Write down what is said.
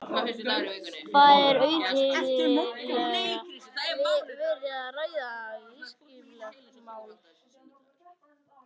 Það er auðheyrilega verið að ræða viðskiptamál.